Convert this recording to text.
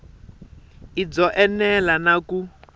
i byo enela na ku